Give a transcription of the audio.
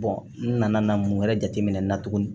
n nana mun wɛrɛ jateminɛ tuguni